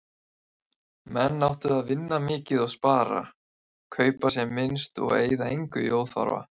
Menn áttu að vinna mikið og spara, kaupa sem minnst og eyða engu í óþarfa.